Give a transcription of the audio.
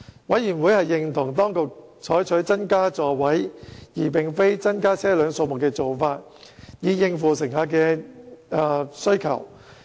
委員認同當局採取增加座位而非增加車輛數目的做法，以應付乘客需求。